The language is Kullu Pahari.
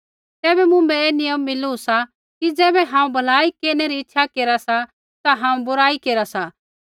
तैबै मुँभै ऐ नियम मिलू सा कि ज़ैबै हांऊँ भलाई केरनै री इच्छा केरा सा ता हांऊँ बुराई केरा सा